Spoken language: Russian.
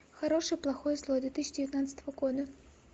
хороший плохой злой две тысячи девятнадцатого года